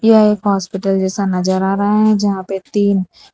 यह एक हॉस्पिटल जैसा नजर आ रहा है जहां पे तीन --